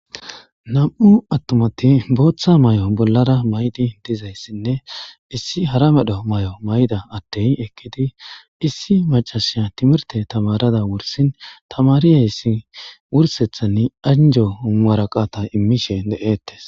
nam'u attumati booththa may7o bollara maydi dizayssinne issi hara medho may7o mayda addey ekkidi issi macasiya timirte tamarada wursin tamariyayssi wursethani anjo uuaraqata immishe de'eettes